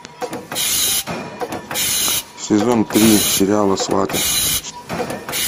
сезон три сериала сваты